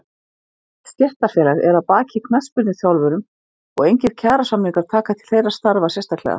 Ekkert stéttarfélag er að baki knattspyrnuþjálfurum og engir kjarasamningar taka til þeirra starfa sérstaklega.